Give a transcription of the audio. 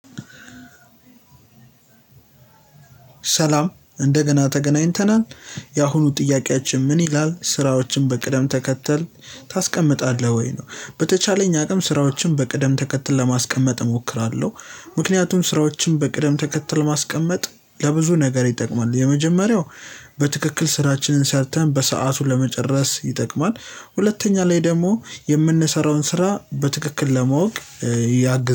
ሰላም እንደገና ተገናኝተናል ያሁኑ ጥያቄያችን ምን ይላል ስራዎችን በቅደም ተከተል ታስቀምጣለህ ወይ ነው በተቻለኝ አቅም ስራዎችን በቅደም ተከተል ለማስቀመጥ እሞክራለሁ። ምክንያቱም ስራዎችን በቅደም ተከትል ማስቀመጥ ለብዙ ነገር ይጠቅማል። የመጀመሪያው በትክክል ስራችንን ሰርተን በሰአቱን ለመጨረስ ይጠቅማል። ሁለተኛ ላይ ደግሞ የምንሰራውን ስራ በትክክል ለማወቅ ያግዘናል